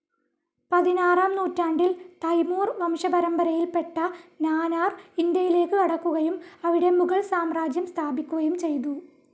പതിനാറാം നൂറ്റാണ്ടിൽ തൈമൂർ വംശപരമ്പരയിൽപെട്ട നാനാർ, ഇന്ത്യയിലേക്ക് കടക്കുകയും അവിടെ മുഗൾ സാമ്രാജ്യം സ്ഥാപിക്കുകയും ചെയ്തു.